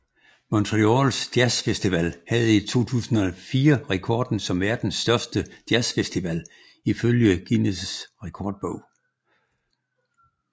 Montreals Jazz Festival havde i 2004 rekorden som verdens største jazz festival ifølge Guinness Rekordbog